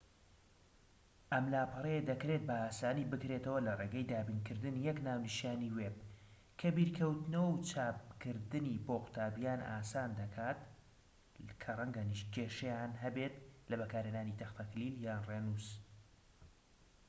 ئەم لاپەڕەیە دەکرێت بە ئاسانی بکرێتەوە لە ڕێگەی دابینکردنی یەک ناونیشانی وێب کە بیرکەوتنەوە و چاپکردنی بۆ قوتابیان ئاسان دەکات کە ڕەنگە کێشەیان هەبێت لە بەکارهێنانی تەختەکلیل یان ڕێنووس